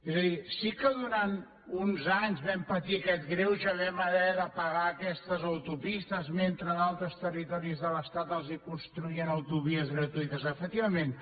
és a dir sí que durant uns anys vam patir aquest greuge vam haver de pagar aquestes autopistes mentre a altres territoris de l’estat els construïen autovies gratuïtes efectivament